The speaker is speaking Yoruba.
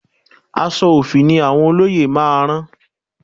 Aṣọ òfì ni àwọn olóyè máa rán